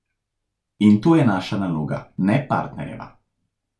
In to je naša naloga ne partnerjeva.